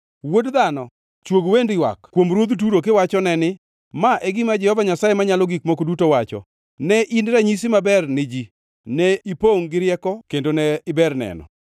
“Wuod dhano, chwog wend ywak kuom ruodh Turo kiwachone ni: ‘Ma e gima Jehova Nyasaye Manyalo Gik Moko Duto Wacho: “ ‘Ne in ranyisi maber ni ji, ne ipongʼ gi rieko kendo ne iber neno.